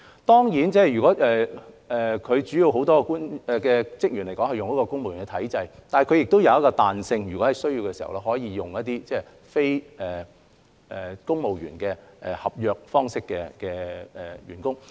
當然，港台很多主要職員按公務員體制聘用，但亦具彈性，有需要時可以非公務員合約方式聘用員工。